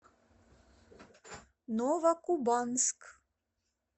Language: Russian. новокубанск